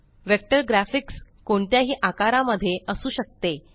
vector graphics कोणत्याही आकारा मध्ये असू शकते